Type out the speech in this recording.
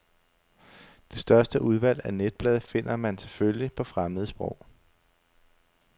Det største udvalg af netblade finder man selvfølgelig på fremmede sprog.